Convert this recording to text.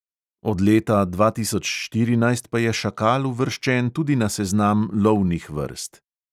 Od leta dva tisoč štirinajst pa je šakal uvrščen tudi na seznam lovnih vrst.